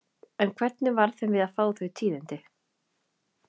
En hvernig varð þeim við að fá þau tíðindi?